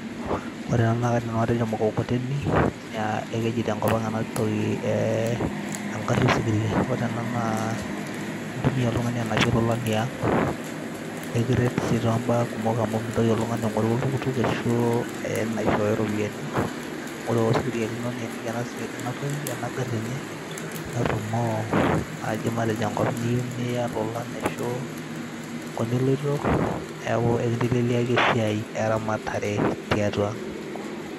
ore ena naa kaidim nanu atejo mukokoteni keji tenkopang' ena toki eng'ari osikiria. ore ena naa intumia oltung'ani anapie ilolan liang' nikiret sii too mbaa kumok amu mintoki oltung'ani aing'oru oltukutuk aishooyo iropiyiani ore osikiria lino nieniki ena ngari enye nerumoo ekolong' inyeu niya ilolan ashu enkop niloito neaku enkinteleliaki esiai erematare tiatua ang' .